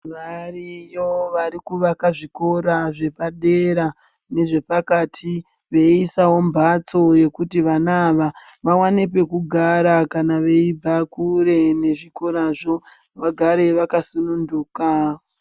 Variyo varikuvaka zvikoro zvepadera nezvepakati veiisawo mhatso kuti vana ava vaonewo pekugara kana veigarawo kure vaone pekugara vakasununduka.